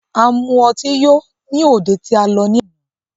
A mu ọtí yó ní òde tí a lọ ní àná.